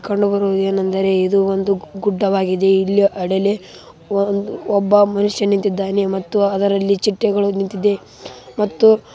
ಕಂಡುಬರುವುದು ಏನೆಂದರೆ ಇದು ಒಂದು ಗುಡ್ಡವಾಗಿದೆ ಇಲ್ಲಿ ಅಡಲೇ ಒಬ್ಬ ಮನುಷ್ಯ ನಿಂತಿದ್ದಾನೆ ಮತ್ತು ಅದರಲ್ಲಿ ಚಿಟ್ಟೆಗಳು ನಿಂತಿದೆ ಮತ್ತು